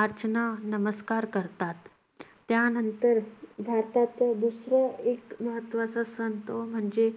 अर्चना नमस्कार करतात. त्यानंतर भारतातील दुसरा एक महत्त्वाचा सण तो म्हणजे